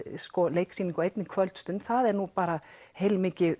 leiksýningu á einni kvöldstund það er nú bara heilmikið